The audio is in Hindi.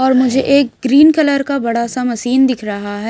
और मुझे एक ग्रीन कलर का बड़ा सा मशीन दिख रहा है।